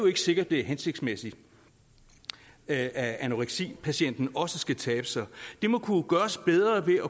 ikke sikkert det er hensigtsmæssigt at anoreksipatienten også skal tabe sig det må kunne gøres bedre ved at